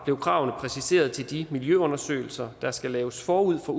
blev kravene præciseret til de miljøundersøgelser der skal laves forud for